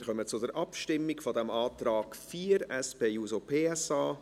Wir kommen zur Abstimmung über den Antrag 4, SP-JUSO-PSA.